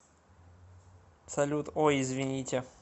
салют ой извините